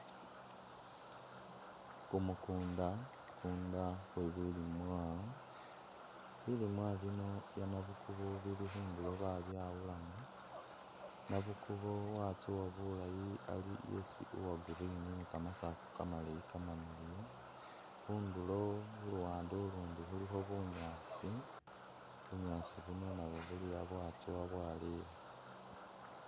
Kumukunda kwe bilimwa, bilimwa bino bye nabukubo bili khundulo babyawulamo, nabukubo watsowa bulaayi ali esi uwa green ne kamasaafu kamaleyi kamaleyi kamamiliyu, khundulo khuluwande ulundi khulikho bunyaasi, bunyaasi buno nabwo buli awo bwatsowa bwaleya.